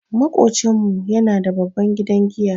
Maƙocinmu yana da babban gidan giya.